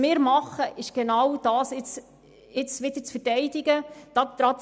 Wir verteidigen diesen Entscheid und erinnern daran.